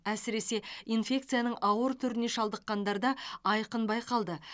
әсіресе инфекцияның ауыр түріне шалдыққандарда айқын байқалды